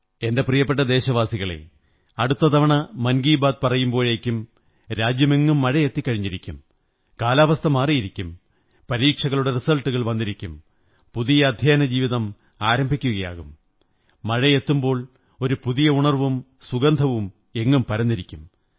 എന്റെ പ്രിയപ്പെട്ട ദേശവാസികളേ അടുത്ത തവണ മൻ കീ ബാത് പറയുമ്പോഴേക്കും രാജ്യമെങ്ങും മഴ എത്തിക്കഴിഞ്ഞിരിക്കും കാലാവസ്ഥ മാറിയിരിക്കും പരീക്ഷകളുടെ റിസല്റ്റു കൾ വന്നിരിക്കും പുതിയ അദ്ധ്യയനജീവിതം ആരംഭിക്കയാകും മഴ എത്തുമ്പോൾ ഒരു പുതിയ ഉണര്വ്വുംം സുഗന്ധവും എങ്ങും പരന്നിരിക്കും